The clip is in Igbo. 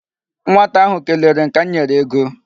Nwata ahụ kelere m ka m nyere ego.